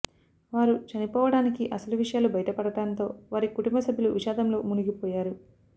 వారు చనిపోవడానికి అసలు విషయాలు బయటపడటంతో వారి కుటుంబ సభ్యులు విషాదంలో మునిగిపోయారు